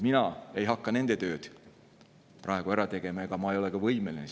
Mina ei hakka nende tööd praegu ära tegema ja ma ei ole selleks ka võimeline.